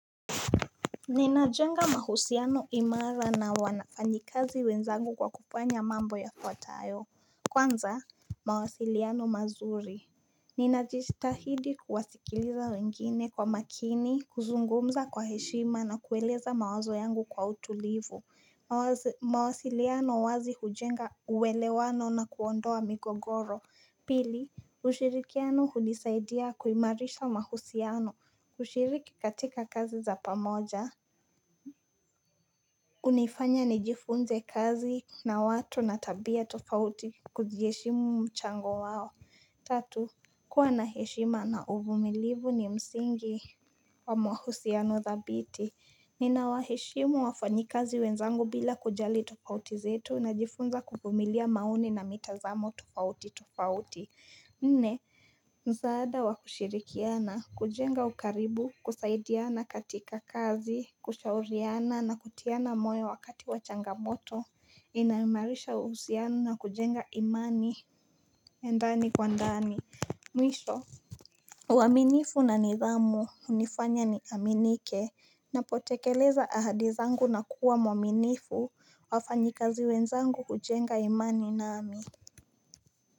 Ninajenga mahusiano imara na wanafanyikazi wenzangu kwa kufanya mambo yafuatao Kwanza mawasiliano mazuri Ninajitahidi kuwasikiliza wengine kwa makini, kuzungumza kwa heshima na kueleza mawazo yangu kwa utulivu mawasiliano wazi hujenga uwelewano na kuondoa mikogoro Pili, ushirikiano hunisaidia kuimarisha mahusiano kushiriki katika kazi za pamoja unifanya nijifunze kazi na watu na tabia tofauti kujiheshimu mchango wao Tatu, kuwa na heshima na uvumilivu ni msingi wa mahusiano thabiti Nina waheshimu wafanyikazi wenzangu bila kujali tofauti zetu Najifunza kuvumilia maoni na mitazamo tofauti tofauti Nne msaada wa kushirikiana, kujenga ukaribu, kusaidiana katika kazi, kushauriana na kutiana moyo wakati wa changamoto Inaimarisha uhusiano na kujenga imani ndani kwa ndani Mwisho uwaminifu na nidhamu, unifanya ni aminike, napotekeleza ahadi zangu na kuwa mwaminifu wafanyikazi wenzangu kujenga imani nami.